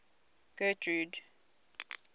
getrude